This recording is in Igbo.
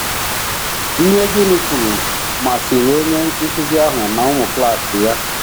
Ihe Ginny kwuru masịrị onye nkụzi ahụ na ụmụ klas ya.